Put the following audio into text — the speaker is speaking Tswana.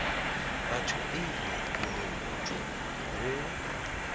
batho pele boleng jo bo